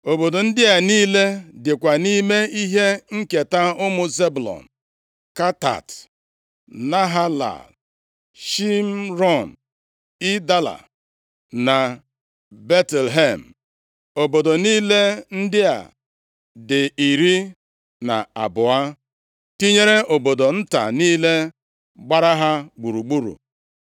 Obodo ndị a niile dịkwa nʼime ihe nketa ụmụ Zebụlọn: Katat, Nahalal, Shịmrọn, Idala na Betlehem. + 19:15 Obodo Betlehem nke a, dị iche na Betlehem dị na Juda. \+xt 1Sa 17:12; Rut 1:1\+xt* Obodo niile ndị a dị iri na abụọ, tinyere obodo nta niile gbara ha gburugburu.